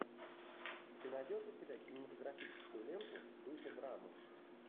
ты найдешь у себя кинематографическую ленту в духе драмы